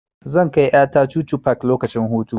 Zan kai ƴa ta chuchu park lokacin hutu.